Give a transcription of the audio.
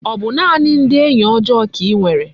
O bu naani ndi enyi ojoo ka inwere?